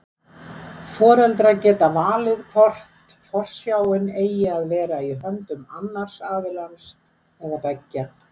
Foreldrar geta valið hvort forsjáin eigi að vera í höndum annars aðilans eða beggja.